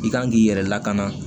I kan k'i yɛrɛ lakana